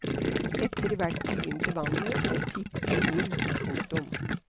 Etter hvert begynte vannet å piple inn. punktum